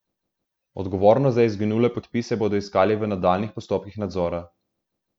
Odgovornost za izginule podpise bodo iskali v nadaljnjih postopkih nadzora.